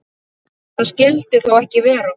Það skyldi þó ekki vera?